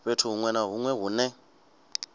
fhethu huṅwe na huṅwe hune